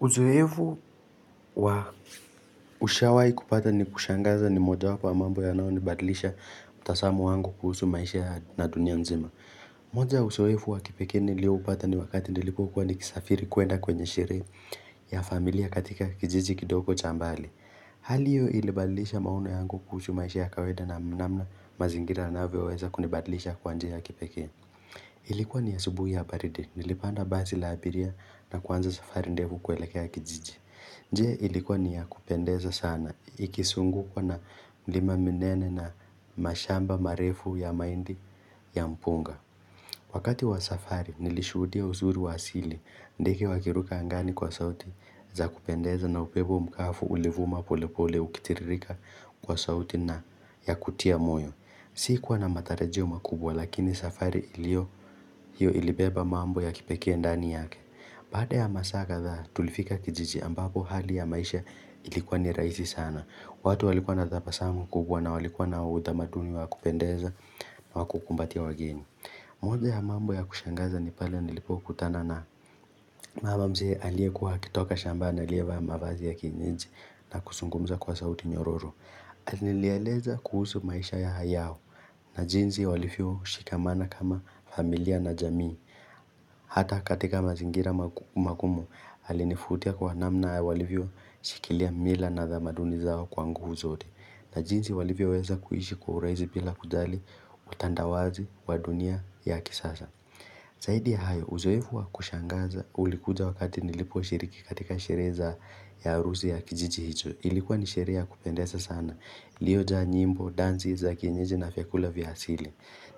Uzoevu wa Ushawahii kupata ni kushangaza ni moja wapo wa mambo yanayonibadilisha mtazamo wangu kuhusu maisha na dunia nzima moja ya uzoefu wa kipekee nilioupata ni wakati nilipokuwa nikisafiri kwenda kwenye sherehe ya familia katika kijiji kidoko cha mbali Hali hiyo ilibadlisha maono yangu kuhusu maisha ya kawaida na namna mazingira yanavyoweza kunibadlisha kwa njia kipekee Ilikuwa ni asubuhi ya baridi Nilipanda basi la abiria na kuanza safari ndefu kwelekea kijiji nje ilikuwa ni ya kupendeza sana ikisungukwa na milima minene na mashamba marefu ya mahindi ya mpunga. Wakati wa safari nilishuhudia uzuri wa asili ndege wakiruka angani kwa sauti za kupendeza na upepo mkafu ulivuma pole pole ukitiririka kwa sauti na ya kutia moyo. Sikuwa na matarajio makubwa lakini safari hiyo ilibeba mambo ya kipekee ndani yake. Baada ya masaa kadhaa tulifika kijiji ambapo hali ya maisha ilikuwa ni rahisi sana. Watu walikuwa na tabasamu kubwa na walikuwa na utamaduni wa kupendeza na wa kukumbatia wageni. Moja ya mambo ya kushangaza ni pale nilipokutana na mama mzee aliekuwa akitoka shambani alievaa mavazi ya kienyeji na kuzungumza kwa sauti nyororo. Alinieleza kuhusu maisha yao na jinsi walivyoshikamana kama familia na jamii. Hata katika mazingira magumu alinivutia kwa namna walivyoshikilia mila na tamaduni zao kwangu nguvu zote na jinsi walivyoweza kuishi kwa urahisi bila kujali utandawazi wa dunia ya kisasa. Zaidi ya hayo, uzoevu wa kushangaza ulikuja wakati niliposhiriki katika sherehe ya arusi ya kijiji hicho. Ilikuwa ni sherehe ya kupendeza sana. Iliyojaa nyimbo, danzi, za kienyeji na vyakula vya asili.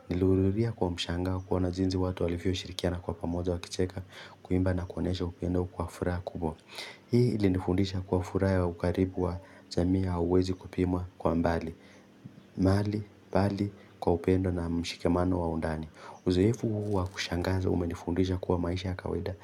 Nilihudhuria kwa mshangao kuona jinsi watu walivyoshirikiana kwa pamoja wakicheka kuimba na kuonyesha upendo kwa furah kubwa. Hii ilifundisha kuwa furaha ya ukaribu wa jamii hauwezi kupimwa kwa mbali. Bali, kwa upendo na mshikamano wa undani. Uzoefu huu wa kushangaza umenifundisha kuwa maisha ya kawaida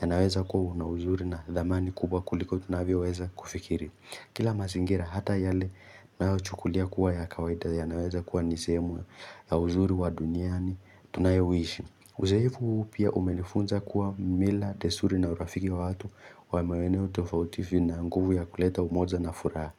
yanaweza kuwa na uzuri na dhamani kubwa kuliko tunavyoweza kufikiri. Kila mazingira hata yale tunayochukulia kuwa ya kawaida yanaweza kuwa ni sehemu ya uzuri wa duniani tunayoishi. Uzoefu huu pia umenifunza kuwa mila testuri na urafiki wa watu wa maeneo tofauti vina nguvu ya kuleta umoja na furaha.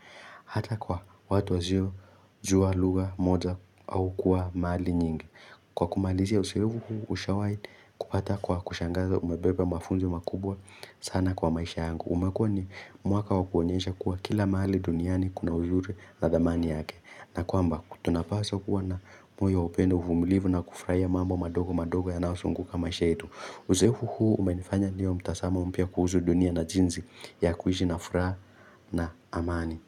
Hata kwa watu wasiojua lugha moja au kuwa mahali nyingi Kwa kumalizia uzoefy huu ushawahi kupata kwa kushangaza umebeba mafunzo makubwa sana kwa maisha yangu umekuwa ni mwaka wa kuonyesha kuwa kila mahali duniani kuna uzuri na dhamani yake na kwamba tunapaswa kuwa na moyo wa upendo uvumilivu na kufuraia mambo madogo madogo yanayozunguka maisha yetu Uzoefu huu umenifanya niwe na mtazamo mpya kuhusu dunia na jinsi ya kuishi na furaha na amani.